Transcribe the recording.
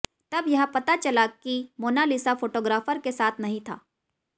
तब यह पता चला कि मोना लिसा फोटोग्राफर के साथ नहीं था